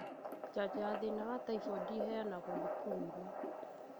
Njajo ya thĩna wa taibodi ĩheanagirwo cukuru-inĩ